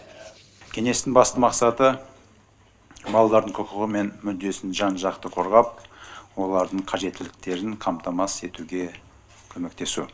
кеңестің басты мақсаты балалардың құқығы мен мүддесін жан жақты қорғап олардың қажеттіліктерін қамтамасыз етуге көмектесу